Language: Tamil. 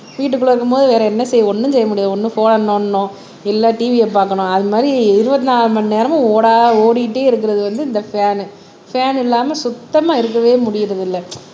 வீட்டுக்குள்ள இருக்கும்போது வேற என்ன செய்ய ஒண்ணும் செய்ய முடியாது ஒண்ணு போன்னா நோண்டனும் இல்ல TV அ பாக்கணும் அது மாறி இருவத்தி நாலு மணி நேரமும் ஓடா ஓடிக்கிட்டே இருக்கறது வந்து இந்த ஃபேனு ஃபேன் இல்லாம சுத்தமா இருக்கவே முடியறதில்லை